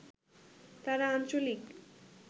তারা আঞ্চলিক